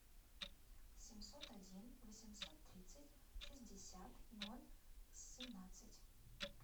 семьсот один восемьсот тридцать шестьдесят ноль семнадцать